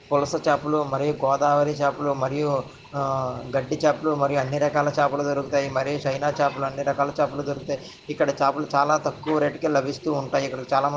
పులస చాపలు మరియు గోదావరి చాపలు మరియు ఆ గడ్డి చాపలు మరియు అన్ని రకాల చాపలు దొరుకుతాయి మరియు చైనా చాపలు అన్ని రకాల చాపలు దొరుకుతాయి ఇక్కడ చేపలు చాలా తక్కువ రేటు కే లభిస్తూ ఉంటాయి ఇక్కడ చాలామంది --